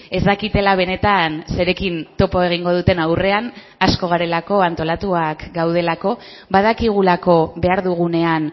ez dakitela benetan zerekin topo egingo duten aurrean asko garelako antolatuak gaudelako badakigulako behar dugunean